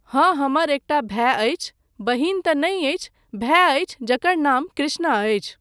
हाँ, हमर एकटा भाय अछि, बहिन तँ नहि अछि, भाय अछि जकर नाम कृष्णा अछि।